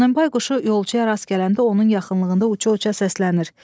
Donenbay quşu yolçuya rast gələndə onun yaxınlığında uça-uça səslənir.